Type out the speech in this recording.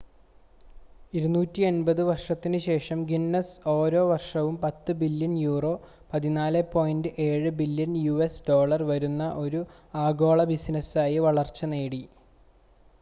250 വർഷത്തിനുശേഷം ഗിന്നസ് ഓരോ വർഷവും 10 billion euro 14.7 billion US dollar വരുന്ന ഒരു ആഗോള ബിസിനസായി വളർച്ച നേടി